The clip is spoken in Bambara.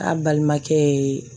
A balimakɛ ye